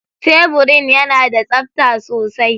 Teburin yana da tsabta sosai.